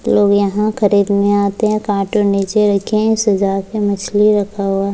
लोग यहां खरीदने आते हैं कार्टून नीचे रखे हैं सजा के मछली रखा हुआ --